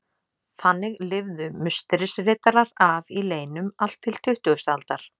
Þannig lifðu Musterisriddarar af í leynum allt til tuttugustu aldar.